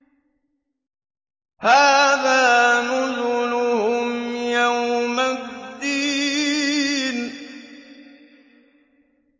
هَٰذَا نُزُلُهُمْ يَوْمَ الدِّينِ